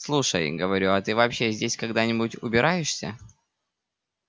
слушай говорю а ты вообще здесь когда-нибудь убираешься